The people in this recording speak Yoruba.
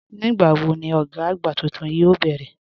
Nígbàwọ̀ ni ọ̀gá agbá túntún yoo bẹ̀rẹ̀?